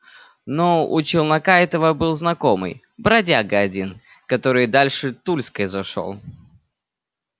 но у челнока этого был знакомый бродяга один который дальше тульской зашёл